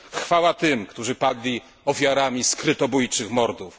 Chwała tym, którzy padli ofiarami skrytobójczych mordów.